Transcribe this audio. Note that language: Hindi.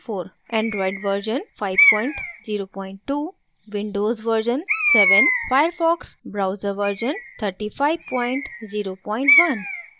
andriod version 502